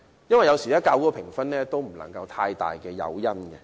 有時候，較高的評分也並非太大的誘因。